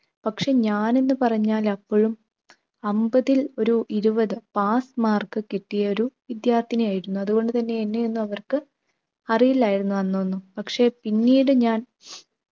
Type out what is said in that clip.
പക്ഷെ ഞാൻ എന്ന് പറഞ്ഞാൽ അപ്പോഴും അമ്പതിൽ ഒരു ഇരുപത്. pass mark കിട്ടിയൊരു വിദ്യാർത്ഥിനി ആയിരുന്നു. അതുകൊണ്ടു തന്നെ എന്നെ ഒന്നും അവർക്ക് അറിയില്ലായിരുന്നു അന്നൊന്നും. പക്ഷെ പിന്നീട് ഞാൻ